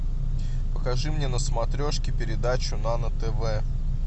покажи мне на смотрешке передачу нано тв